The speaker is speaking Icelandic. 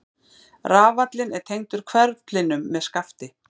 Rafallinn er tengdur hverflinum með skafti.